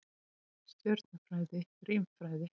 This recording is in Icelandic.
Stjörnufræði, rímfræði.